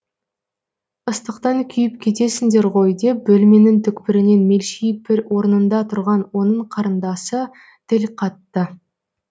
ыстықтан күйіп кетесіңдер ғой деп бөлменің түкпірінен мелшиіп бір орнында тұрған оның қарындасы тіл қатты